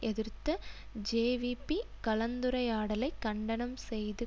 எதிர்த்த ஜேவிபி கலந்துரையாடலை கண்டனம் செய்து